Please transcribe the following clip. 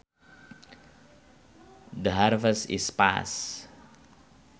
The harvest is past